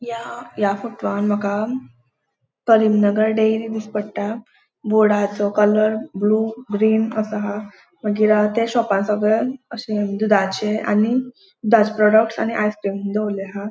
या या फोट वान माका अ करीमनगर डेअरी दिस पट्टा बोर्डाचो कलर ब्लू ग्रीन असो हा मागीर हाव त्या शॉपान सगळे अशे दूदाचे आणि प्रोडक्टस आणि आइसक्रीम दोवरले हा.